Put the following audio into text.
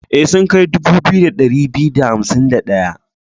E, sun kai dubu biyu da ɗari biyu da hansim da ɗayan.